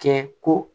Kɛ ko